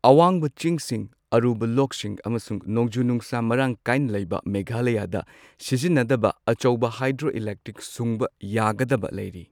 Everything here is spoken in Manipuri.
ꯑꯋꯥꯡꯕ ꯆꯤꯡꯁꯤꯡ, ꯑꯔꯨꯕ ꯂꯣꯛꯁꯤꯡ ꯑꯃꯁꯨꯡ ꯅꯣꯡꯖꯨ ꯅꯨꯡꯁꯥ ꯃꯔꯥꯡ ꯀꯥꯏꯅ ꯂꯩꯕ ꯃꯦꯘꯂꯥꯌꯥꯗ ꯁꯤꯖꯤꯟꯅꯗꯕ ꯑꯆꯧꯕ ꯍꯥꯏꯗ꯭ꯔꯣꯏꯂꯦꯛꯇ꯭ꯔꯤꯛ ꯁꯨꯡꯕ ꯌꯥꯒꯗꯕ ꯂꯩꯔꯤ꯫